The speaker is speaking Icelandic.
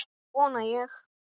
Það vona ég